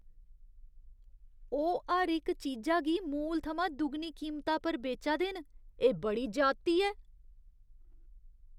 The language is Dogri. ओह् हर इक चीजा गी मूल थमां दुगनी कीमता पर बेचा दे न। एह् बड़ी ज्यादती ऐ।